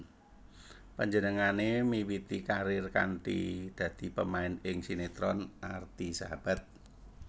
Panjenenganne miwiti karir kanthi dadi pamain ing sinetron Arti Sahabat